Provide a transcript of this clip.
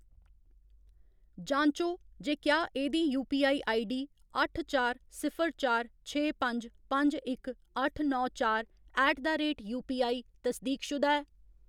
जांचो जे क्या एह्‌‌ दी यूपीआई आईडीडी अट्ठ चार सिफर चार छे पंज पंज इक अट्ठ नौ चार ऐट द रेट यूपीआई तसदीकशुदा ऐ।